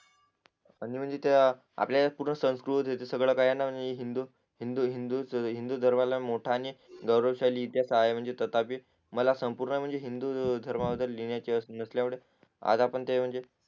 आणि म्हणजे त्या आपल्यापुढे संस्कृत हे सगळ काही यांना म्हणजे हिंदू हिंदू हिंदू हिंदुधर्मला मोठा आणि गौरवशाली इतिहास आहे म्हणजे तथापि मला संपूर्ण हिंदुधर्मा बदल लिहणाचे आज आपण ते म्हणजे